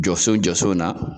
Jɔso jɔso na